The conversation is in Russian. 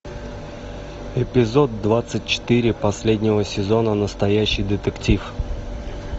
эпизод двадцать четыре последнего сезона настоящий детектив